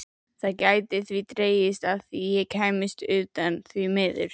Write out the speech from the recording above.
Það gæti því dregist að ég kæmist utan, því miður.